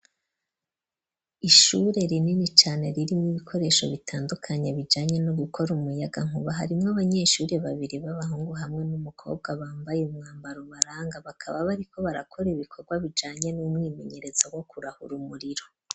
Ishure rinini cane ririmwo ibikoresho bitandukanye, bijanye no gukora umuyagankuba. Harimwo abanyeshuri babiri b'abahungu hamwe n'umukobwa, bambaye umwambaro ubaranga. Bakaba bariko barakora ibikorwa bijanye n'umwimenyerezo wo kurahura umuriro.